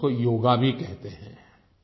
कुछ लोग उसको योगा भी कहते हैं